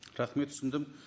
рахмет түсіндім